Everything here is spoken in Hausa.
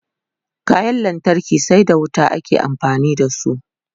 kayan lantarki sai da wuta ake amfani da su